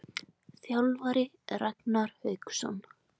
Þjálfari: Ragnar Hauksson.